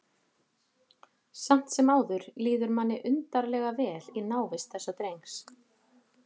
Samt sem áður líður manni undarlega vel í návist þessa drengs.